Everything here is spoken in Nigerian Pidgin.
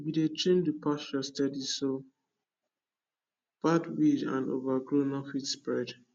we dey trim the pasture steady so bad weed and overgrow no fit spread